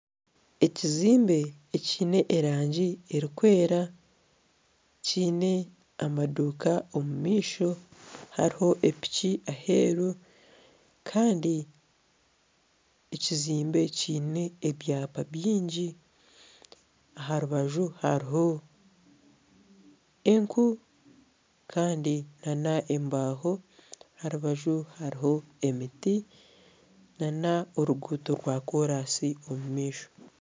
Ekizimbe ekiine erangi erikwera kyine amaduuka omu maisho. hariho epiki aheru Kandi ekizimbe eki kyine ebyapa byingi aha rubaju hariho enku Kandi na n'embaho aha rubaju hariho emiti n'oruguuto rwakoraasi omu maisho.